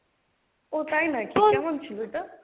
ও তাই নাকি? কেমন ছিল ওটা?